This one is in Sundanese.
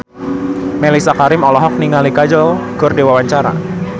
Mellisa Karim olohok ningali Kajol keur diwawancara